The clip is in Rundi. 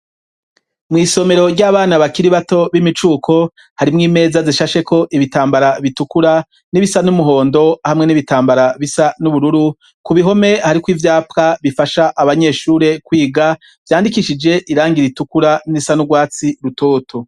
Mw'isomero ry'abana bakiri bato b'imicuko harimwo imeza zishasheko ibitambara bitukura n'ibisa n'umuhondo hamwe n'ibitambara bisa n'ubururu, ku bihome hariko ivyapa bifasha abanyeshure kwiga vyandikishije irangi ritukura n'irisa n'ubwatsi rutoto.